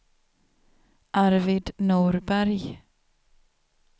Arvid Norberg